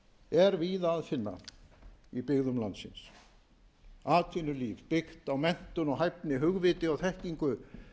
er víða að finna í byggðum landsins atvinnulíf byggt á menntun og hæfni hugviti og þekkingu